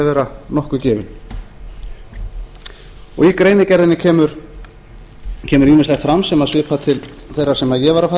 að vera nokkuð gefinn í greinargerðinni kemur ýmislegt fram sem svipar til þeirrar sem ég var að fara